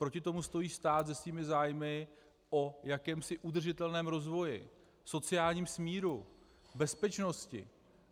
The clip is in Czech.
Proti tomu stojí stát se svými zájmy o jakémsi udržitelném rozvoji, sociálním smíru, bezpečnosti.